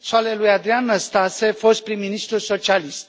și ale lui Adrian Năstase, fost prim ministru socialist.